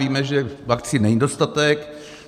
Víme, že vakcín není dostatek.